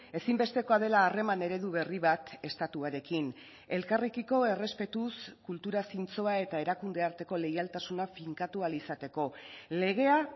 ezinbestekoa dela harreman eredu berri bat estatuarekin elkarrekiko errespetuz kultura zintzoa eta erakunde arteko leialtasuna finkatu ahal izateko legea